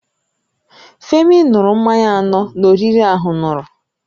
Femi n̄ụrụ mmanya anọ na oriri ahụn̄ụrụ